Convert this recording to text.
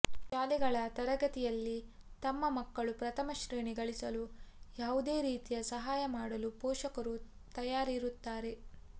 ಶಾಲೆಗಳ ತರಗತಿಯಲ್ಲಿ ತಮ್ಮ ಮಕ್ಕಳು ಪ್ರಥಮ ಶ್ರೇಣಿ ಗಳಿಸಲು ಯಾವುದೇ ರೀತಿಯ ಸಹಾಯ ಮಾಡಲು ಪೋಷಕರು ತಯಾರಿರುತ್ತಾರೆ